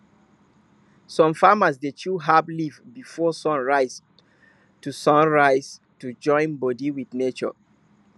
some farmers dey chew herb leaf before sun rise to sun rise to join body with nature